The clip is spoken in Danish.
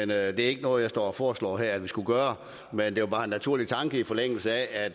det er ikke noget jeg står og foreslår her at vi skulle gøre men det er bare en naturlig tanke i forlængelse af